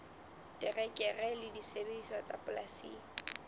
terekere le disebediswa tsa polasing